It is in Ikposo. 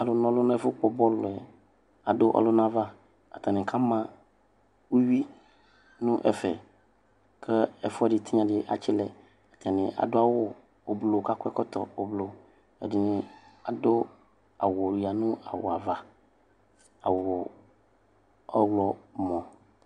Alʋna ɔlʋ nʋ ɛfʋkpɔ bɔlʋ adʋ ɔlʋna ava. Atanɩ kama uyui nʋ ɛfɛ kʋ ɛfʋɛdɩ tɩnya dɩ atsɩlɛ. Atanɩ adʋ awʋ ʋblʋ kʋ akɔ ɛkɔtɔ ʋblʋ. Ɛdɩnɩ adʋ awʋ yǝ nʋ awʋ ava. Awʋ ɔɣlɔmɔ.